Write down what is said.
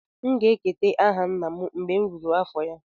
M ga-eketa aha nna m mgbe m ruru afọ ya